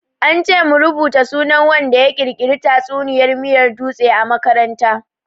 An ce mu rubuta sunan wanda ya ƙirƙiri tatsuniyar miyar dutse a makaranta.